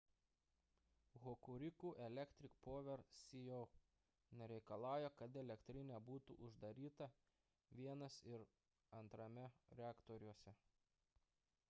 hokuriku electric power co nereikalauja kad elektrinė būtų uždaryta 1 ir 2 reaktoriuose